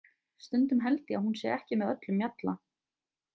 Stundum held ég að hún sé ekki með öllum mjalla.